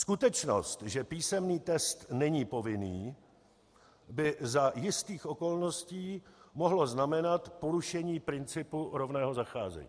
Skutečnost, že písemný test není povinný, by za jistých okolností mohla znamenat porušení principu rovného zacházení.